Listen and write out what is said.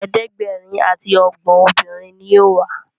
ẹ̀ẹ́dẹ̀gbẹ̀rin ati ogbon obìrin ní yóò wá.